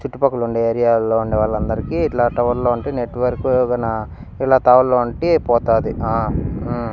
చుట్టుపక్కల ఉండే ఏరియాలో ఉండే వాళ్ళందరికీ ఇట్ల టవర్లో అంటే నెట్వర్క్ గున ఇలా టవర్లో ఉంటే పోతాది ఆ ఉ.